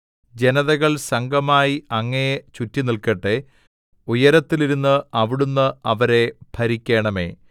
ജനതകൾ സംഘമായി അങ്ങയെ ചുറ്റിനില്ക്കട്ടെ ഉയരത്തിലിരുന്ന് അവിടുന്ന് അവരെ ഭരിക്കേണമേ